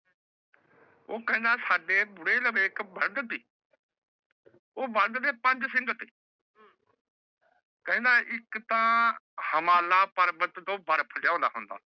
ਓਹ ਖੇੰਦਾ ਸਾਡੇ ਓਹ ਬੜੇ ਪੰਚ ਸਿੰਘ ਥੇ ਖੇੰਦਾ ਏਕ ਤਹ ਹਿਮਾਲਯ ਪਾਰਵਤ ਟੋਹ ਬਰਫ ਲੈ ਆਉਂਦਾ ਹੋਨਾਦ